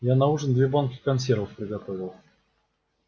я на ужин две банки консервов приготовил